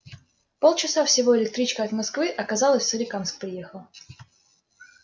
полчаса всего электричкой от москвы а казалось в соликамск приехал